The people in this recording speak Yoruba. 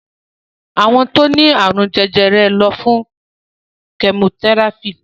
Àwọn tó ní àrùn jèrè jèrè ló fún chemotherapy.